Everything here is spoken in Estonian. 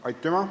Aitüma!